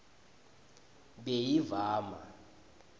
beyivama